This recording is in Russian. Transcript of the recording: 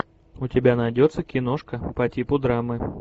у тебя найдется киношка по типу драмы